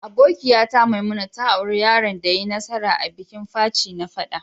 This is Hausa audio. Abokiya ta Maimuna ta aura yaron da ya yi nasara a'bikin Faci na fada.